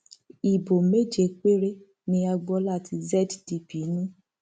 ibo méje péré ni agboola tí zdp ní